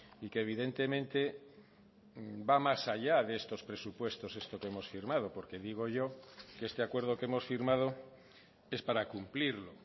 y que evidentemente va más allá de estos presupuestos esto que hemos firmado porque digo yo que este acuerdo que hemos firmado es para cumplirlo